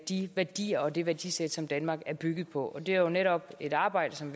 de værdier og det værdisæt som danmark er bygget på det er jo netop et arbejde som